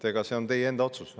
Aga see on teie enda otsus.